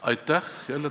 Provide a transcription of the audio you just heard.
Aitäh!